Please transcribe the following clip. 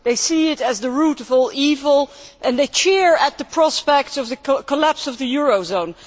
they see it as the root of all evil and they cheer at the prospect of the collapse of the eurozone.